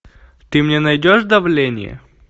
ты мне найдешь давление